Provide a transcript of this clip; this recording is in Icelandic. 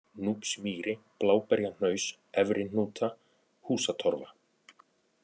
Núpsmýri, Bláberjahnaus, Efri-Hnúta, Húsatorfa